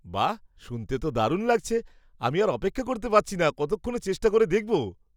বাঃ, শুনতে তো দারুণ লাগছে! আমি আর অপেক্ষা করতে পারছি না কতক্ষণে চেষ্টা করে দেখব।